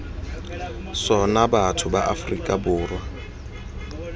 sona batho ba aforika borwa